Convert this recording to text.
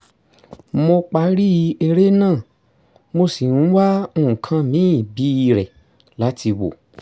mo parí eré náà mo sì ń wá nǹkan míì bíirẹ̀ láti wò